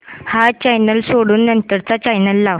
हा चॅनल सोडून नंतर चा चॅनल लाव